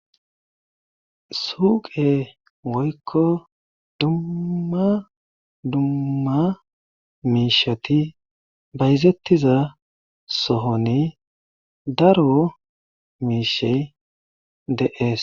Suuqe woykko dumma dumma miishshati bayzetiza sohoni daro miishshay de'ees.